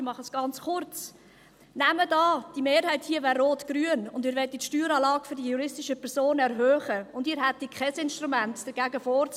Ich mache es ganz kurz: Nehmen Sie an, die Mehrheit hier wäre rotgrün, und Sie wollten die Steueranlage für die juristischen Personen erhöhen, und Sie hätten kein Instrument, um dagegen vorzugehen.